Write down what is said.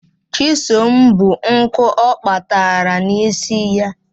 Chisom bu nkụ ọ kpatara n'isi ya.